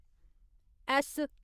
S